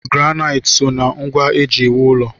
Granait so ná ngwa eji ewu ụlọ.